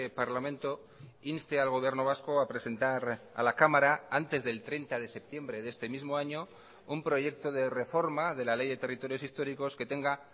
parlamento inste al gobierno vasco a presentar a la cámara antes del treinta de septiembre de este mismo año un proyecto de reforma de la ley de territorios históricos que tenga